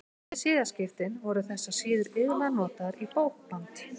Eftir siðaskiptin voru þessar síður iðulega notaðar í bókband.